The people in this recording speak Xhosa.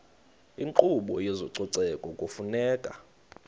inkqubo yezococeko kufuneka